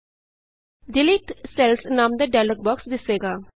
delete cells delete cells ਨਾਮ ਦਾ dialog box ਦਿੱਸੇਗਾ